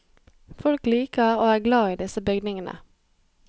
Folk liker og er glad i disse bygningene.